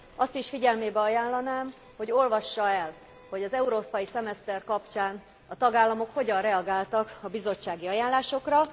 Azt is figyelmébe ajánlanám, hogy olvassa el, hogy az európai szemeszter kapcsán a tagállamok hogyan reagáltak a bizottsági ajánlásokra.